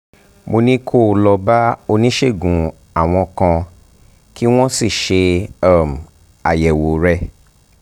mo ní kí o lọ bá oníṣègùn awọ̀n kan kí wọ́n sì ṣe um àyẹ̀wò rẹ